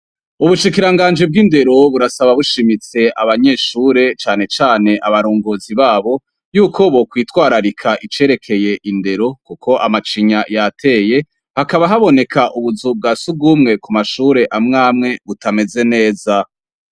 Ubushikranganji bw'indero burasaba bushimitse abanyeshure cane cane abarongozi babo yuko bokwitwararika icerekeye indero kuko amacinya yateye, hakaba haboneka ubuzu bwa sugumwe ku mashure amwamwe butameze neza.